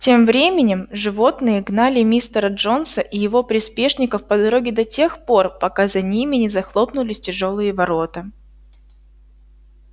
тем временем животные гнали мистера джонса и его приспешников по дороге до тех пор пока за ними не захлопнулись тяжёлые ворота